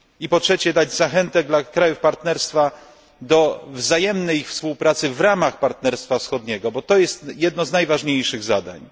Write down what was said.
Po trzecie, szczyt powinien dać zachętę dla krajów partnerstwa do wzajemnej współpracy w ramach Partnerstwa Wschodniego, bo to jest jedno z najważniejszych zadań.